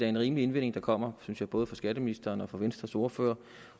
en rimelig indvending der kommer fra både skatteministeren og venstres ordfører